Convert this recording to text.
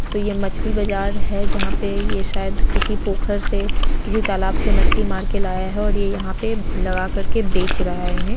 तो ये मछली बाजार है जहाँ पे ये शायद किसी पोखर से किसी तालाब से मछली मार के लाया है और ये यहाँ पे लगा करके बेच रहा है इन्हें।